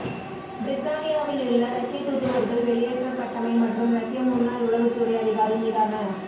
பிரித்தானியாவிலுள்ள ரஷ்ய தூதுவர்கள் வெளியேற்றப்பட்டமை மற்றும் ரஷ்ய முன்னாள் உளவுத்துறை அதிகாரி மீதான